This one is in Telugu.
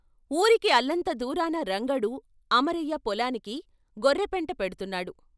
ఊరికి అల్లంత దూరాన రంగడు అమరయ్య పొలానికి గొర్రెపెంట పెడ్తున్నాడు.